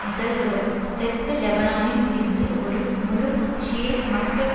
நிகழ்வுகள் தெற்கு லெபனானில் இருந்து ஒரு முழு ஷியைட் மக்கட்